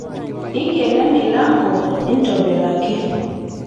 inkeno emilanko intobiraki